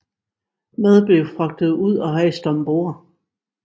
Mad blev fragtet ud og hejst om bord